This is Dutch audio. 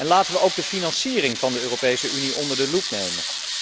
Laten we ook de financiering van de Europese Unie onder de loep nemen.